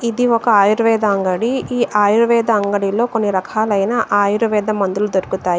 ఇది ఒక ఆయుర్వేద అంగడి. ఈ ఆయుర్వేద అంగడిలో కొన్ని రకాలైన ఆయుర్వేద మందులు దొరుకుతాయి.